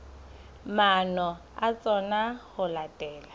maano a tsona ho latela